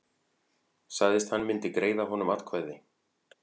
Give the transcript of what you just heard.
Sagðist hann myndi greiða honum atkvæði